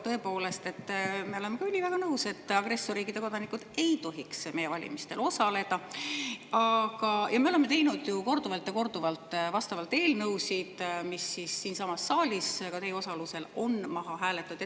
Tõepoolest, me oleme üliväga nõus, et agressorriikide kodanikud ei tohiks meie valimistel osaleda, ja me oleme teinud ju korduvalt ja korduvalt vastavaid eelnõusid, mis siinsamas saalis, ka teie osalusel, on maha hääletatud.